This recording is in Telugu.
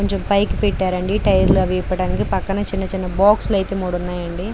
కొంచెం పైకి పెట్టారండి టైర్లు అవి ఇప్పడానికి పక్కన చిన్న చిన్న బాక్సులు అయితే మూడు ఉన్నాయండి.